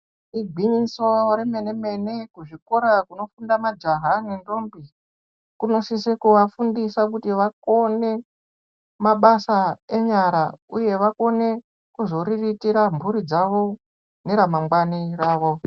Igwinyiso remene mene kuzvikora kunofunde majaha nentombi kunosisa kuvafundisa kuti vakone mabasa enyara uye vakone kuzoriritira mburi dzavo neramangwani ravo.